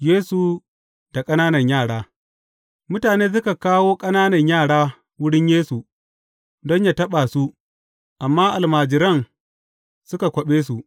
Yesu da ƙananan yara Mutane suka kawo ƙananan yara wurin Yesu don yă taɓa su, amma almajiran suka kwaɓe su.